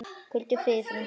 Hvíldu í friði, frændi.